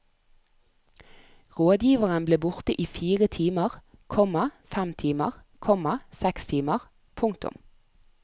Rådgiveren ble borte i fire timer, komma fem timer, komma seks timer. punktum